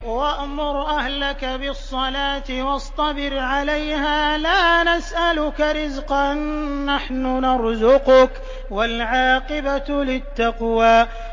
وَأْمُرْ أَهْلَكَ بِالصَّلَاةِ وَاصْطَبِرْ عَلَيْهَا ۖ لَا نَسْأَلُكَ رِزْقًا ۖ نَّحْنُ نَرْزُقُكَ ۗ وَالْعَاقِبَةُ لِلتَّقْوَىٰ